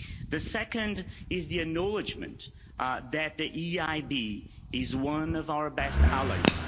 The second is the acknowledgment that the EIB is one of our best allies.